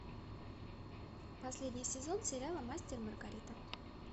последний сезон сериала мастер и маргарита